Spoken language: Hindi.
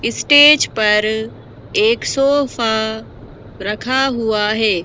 स्टेज पर एक सोफा रखा हुआ है।